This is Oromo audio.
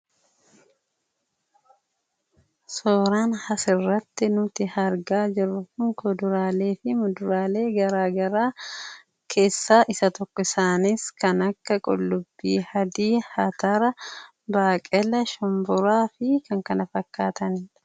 Suuraan asirratti nuti argaa jirru kun kuduraalee fi muduraalee garaagaraa keessaa isa tokko. Isaanis kan akka qullubbii adii, atara, baaqelaa, shumburaa fi kan kana fakkaatanidha.